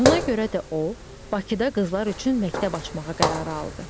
Buna görə də o, Bakıda qızlar üçün məktəb açmağa qərar aldı.